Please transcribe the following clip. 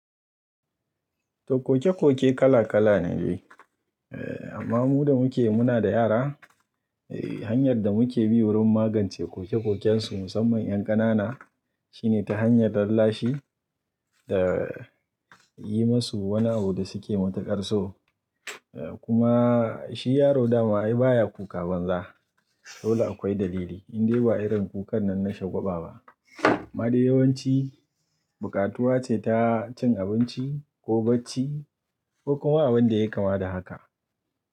To kokekoke kala kala ne. Eh amma mu da muke muna da yara, eh hanyar da muke bi wurin magance kokekoken su musamman ƴan ƙanana shine ta hanyar rarrashi da yi musu wani abu da suke matuƙar so. Eh kuma shi yaro dama ai baya kuka banza, dole akwai dalili in dai ba irin kukan nan na shagwaba ba. Amma dai yawanci buƙatuwa ce ta cin abinci ko bacci ko kuma abin da ya kama da haka.